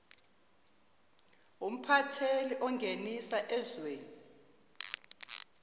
umphatheli ongenisa ezweni